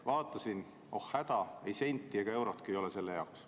Vaatasin: oh häda, ei senti ega eurotki ei ole selle jaoks.